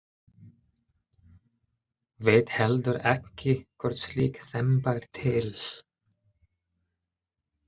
Veit heldur ekki hvort slík þemba er til.